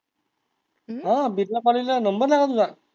अह बिरला ला नंबर लागला तुझा?